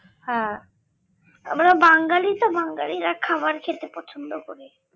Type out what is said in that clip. হ্যাঁ আমরা বাঙ্গালী তো বাঙ্গালীরা খাবার খেতে পছন্দ করে